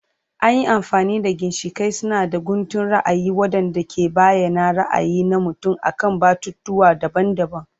An yi amfani da ginshiƙai suna da guntun ra'ayi waɗanda ke bayyana ra'ayi na mutum akan batutuwa daban-daban.